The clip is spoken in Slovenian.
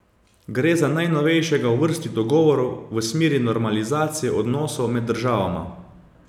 Gre za najnovejšega v vrsti dogovorov v smeri normalizacije odnosov med državama.